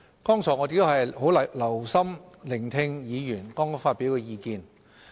剛才我們很留心聆聽議員發表的意見。